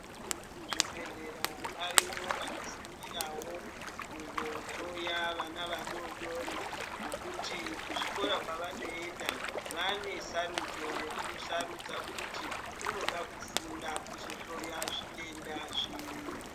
Muzvibhehlera variyo vanosungirawo kungohloya vana vadodori ngekuti kuzvikora kwevanoenda vane sarudzo yekusarudza kuti unoda kufunda kuzohloya zvitenda zviri.